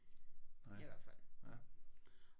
I hvert fald